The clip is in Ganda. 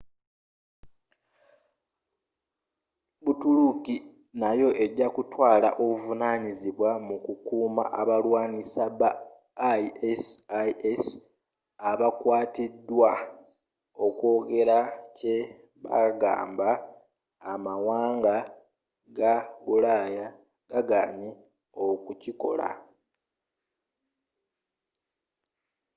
butuluki nayo ejakutwaala obuvunanyizibwa mu kukuma abalwaanyi ba isis abakwatibwa okwogera kye kwagamba amawanga ga bulaya gaganye okukikola